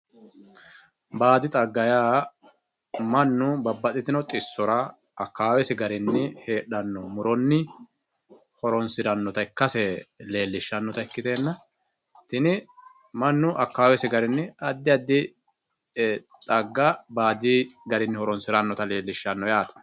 Baadi xagga yaa mannu babaxitino xisora akawawessi garinni heedhano horonni horonsiranotta ikkase leelishanota ikkitenna tini manu akawawesi garini adi adi xaga baadi garinni horonsiranota leelishano yaate